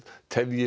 tefji